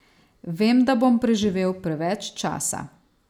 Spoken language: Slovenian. Vem, da bom preživel preveč časa.